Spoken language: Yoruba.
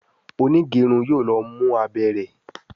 onigerun yóò ló mú abé rẹ.